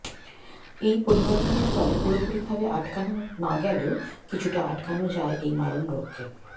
এই পরিবর্তনের ফলে পুরোপুরিভাবে আটকানো না গেলেও কিছুটা আটকানো যায় এই মারণ রোগকে